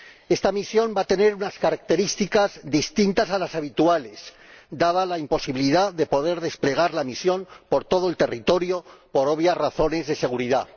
Esta misión va a tener unas características distintas a las habituales, dada la imposibilidad de poder desplegar la misión por todo el territorio, por obvias razones de seguridad.